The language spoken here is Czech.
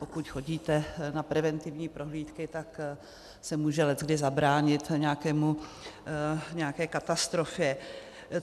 Pokud chodíte na preventivní prohlídky, tak se může leckdy zabránit nějaké katastrofě.